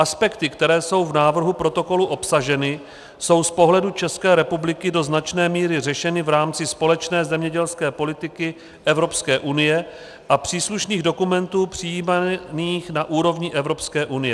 Aspekty, které jsou v návrhu protokolu obsaženy, jsou z pohledu České republiky do značné míry řešeny v rámci společné zemědělské politiky Evropské unie a příslušných dokumentů přijímaných na úrovni Evropské unie.